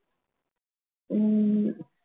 ஹம்